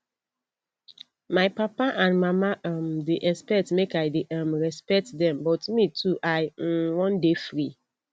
my papa and mama um dey expect make i dey um respect dem but me too i um wan dey free